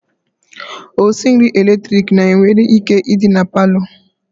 Osinri eletrik na nwere ike idi na parlour.